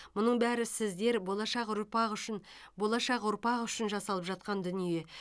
мұның бәрі сіздер болашақ ұрпақ үшін болашақ ұрпақ үшін жасалып жатқан дүние